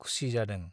खुसि जादों।